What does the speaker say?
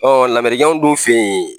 lamerikɛnw dun fɛ yen.